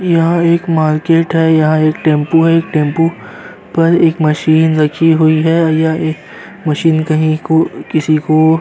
यहाँ एक मार्केट है यहाँ एक टेम्पू है टेम्पू पर एक मशीन रखी हुई है और यह एक मशीन कहीं को किसी को --